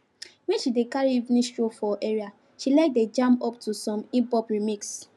when she dey carry evening stroll for area she like dey jam up to some hiphop remixes